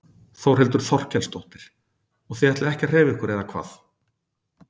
Þórhildur Þorkelsdóttir: Og þið ætlið ekki að hreyfa ykkur eða hvað?